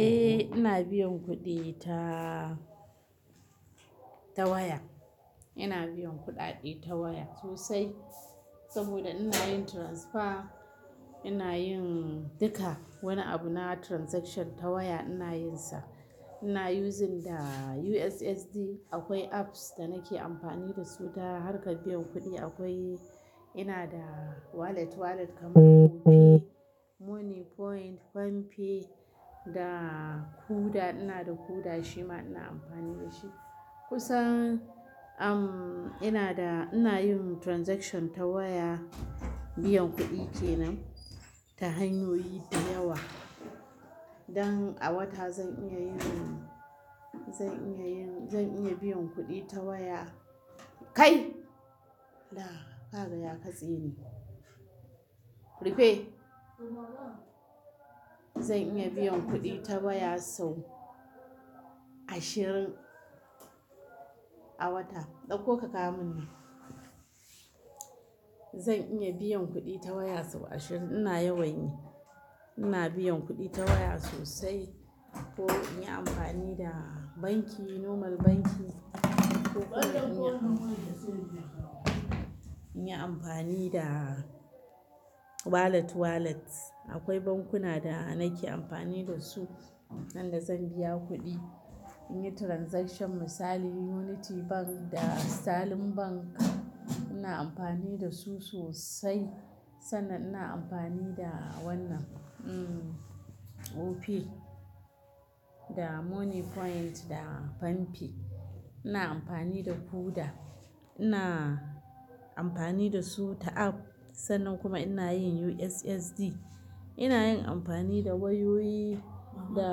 Eh ina biyan kuɗi ta, ta waya. Ina biyan kuɗaɗe ta waya sosai saboda ina yin transfer, ina yin duka wani abu na transaction ta waya ina yinsa. Ina using da USSD. Akwai apps da nake amfani da su ta harka biyan kuɗi. Akwai, ina da wallet wallet kamar Opay, Money Point, FanPay da Kuda. Ina da Kuda shima ina amfani da shi. Kusan, um, ina da, ina yin transaction ta waya, biyan kuɗi kenan ta hanyoyi da yawa. Dan a wata zan iya yin, zan iya yin, zan iya biyan kuɗi ta waya. Kai! La, kaga ya katse ni. Rufe. Zan iya biyan kuɗi ta waya sau ashirin a wata. Ɗauko ka kawo mun nan. Zan iya biyan kuɗi ta waya sau ashirin. Ina yawan yi. Ina biyan kuɗi ta waya sosai ko in yi amfani da banki normal banki ko in yi amfani da wallet wallet. Akwai bankuna da nake amfani da su, inda zan biya kuɗi in yi transaction. Misali Unity Bank da Sitalin Bank. Ina amfani da su sosai sannan ina amfani da wannan, um, Opay da Money Point da FanPay. Ina amfani da Kuda. Ina amfani da su ta app sannan kuma ina yin USSD. Ina yin amfani da wayoyi da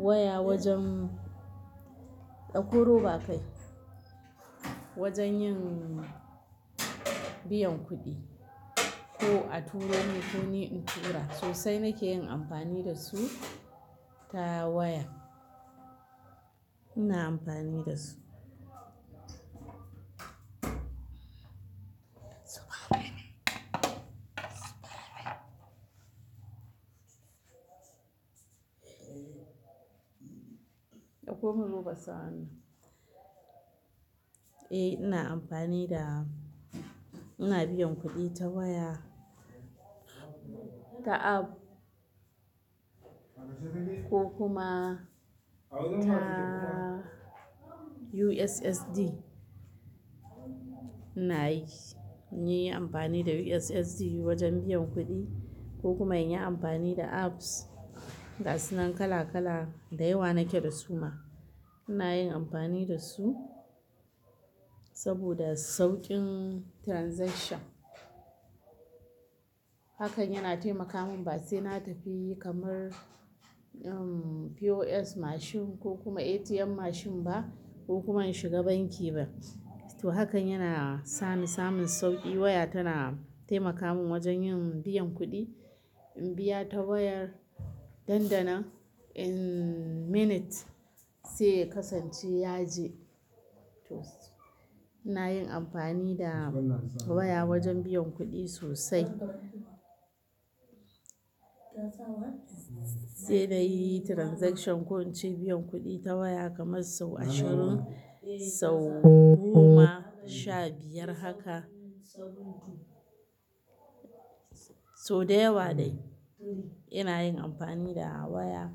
waya wajen, ɗauko roba kai, wajen yin biyan kuɗi ko a turo man ko ni in tura. Sosai nake yin amfani da su ta waya. Ina amfani da su. Saba. Ɗauko mun roba sannan. Eh ina amfani da, ina biyan kuɗi ta waya, ta app ko kuma ta USSD. Ina yi. In yi amfani da USSD wajen biyan kuɗi ko kuma in yi amfani da apps ga su nan kala kala, da yawa nake da su ma. Ina yin amfani da su saboda sauƙin transaction. Hakan yana taimaka mun ba sai na tafi kamar, um, POS mashin ko kuma ATM mashin ba ko kuma in shiga banki ba. To hakan yana sa ni samin sauƙi. Waya tana taimaka mun wajen yin biyan kuɗi. In biya ta wayar dandanan in minute sai kasanci yaje. To. Ina yin amfani da waya wajen biyan kuɗi sosai. Sai na yi transaction ko in ce biyan kuɗi ta waya kamar sau ashirin, sau goma, sha biyar haka. Sau da yawa dai ina yin amfani da waya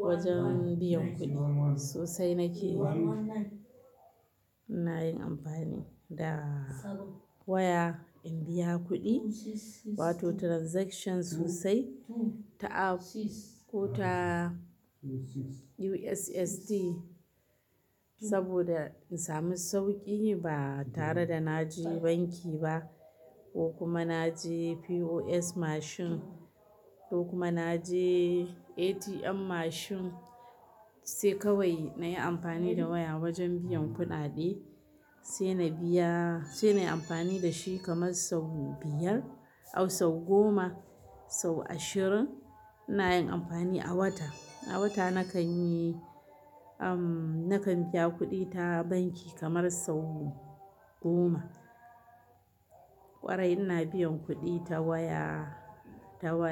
wajen biyan kuɗi. Sosai nake yi. Ina yin amfani da waya in biya kuɗi wato transaction sosai ta app ko ta USSD saboda in sami sauƙi ba tare da na je banki ba ko kuma na je POS mashin ko kuma na je ATM mashin. Sai kawai na yi amfani da waya wajen biyan kuɗaɗe. Sai na biya-- sai na yi amfani da shi kamar sau biyar au sau goma, sau ashirin. Ina yin amfani a wata. A wata nakan yi, um, nakan biya kuɗi ta banki kamar sau goma. Ƙwarai ina biyan kuɗi ta waya, ta wallet.